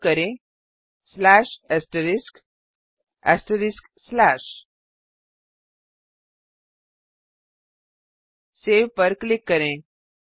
type करें save पर click करें